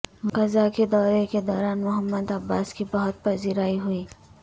غزہ کے دورے کے دوران محمود عباس کی بہت پذیرائی ہوئی